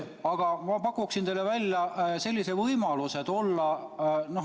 Aga ma pakun teile välja ühe võimaluse.